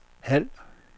halv